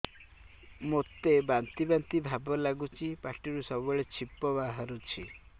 ମୋତେ ବାନ୍ତି ବାନ୍ତି ଭାବ ଲାଗୁଚି ପାଟିରୁ ସବୁ ବେଳେ ଛିପ ବାହାରୁଛି